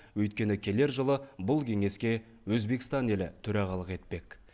өйткені келер жылы бұл кеңеске өзбекстан елі төрағалық етпек